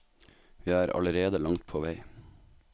Vi er allerede langt på vei.